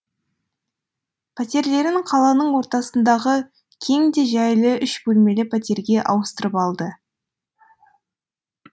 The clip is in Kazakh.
пәтерлерін қаланың ортасындағы кең де жайлы үш бөлмелі пәтерге ауыстырып алды